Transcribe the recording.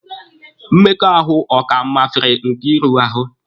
Mmekọahụ ọ ka mafere Nkeiru ahụ?